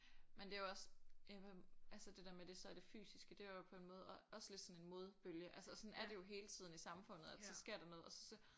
Men det er jo også øh altså det der med det så er det fysiske det er jo på en måde og også lidt sådan en modebølge altså og sådan er det jo hele tiden i samfundet at så sker der noget og så